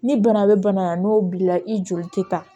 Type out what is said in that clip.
Ni bana bɛ bana na n'o b'i la i joli tɛ taa